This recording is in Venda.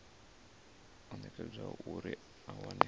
o nekedzwaho uri a wane